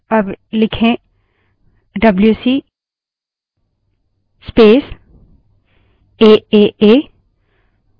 जैसे हम जानते हैं कि aaa name की कोई file मौजूद नहीं है aaa लिखें